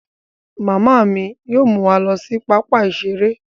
Mama mi yóò mú wa lọ sí pápá iṣere